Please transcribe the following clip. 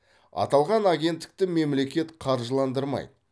аталған агенттікті мемлекет қаржыландырмайды